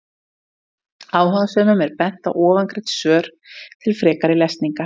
Áhugasömum er bent á ofangreind svör til frekari lesningar.